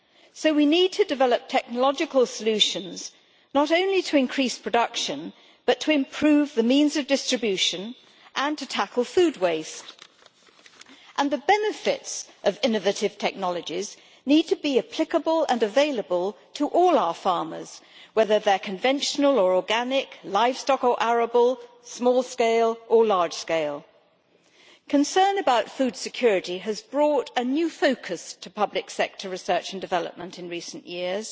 So we need to develop technological solutions not only to increase production, but to improve the means of distribution and to tackle food waste, and the benefits of innovative technologies need to be applicable and available to all our farmers whether they are conventional or organic, livestock or arable, small scale or large scale. Concern about food security has brought a new focus to public sector research and development in recent years,